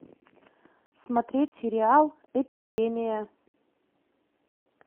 смотреть сериал эпидемия